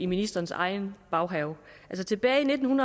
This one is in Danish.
ministerens egen baghave tilbage i nitten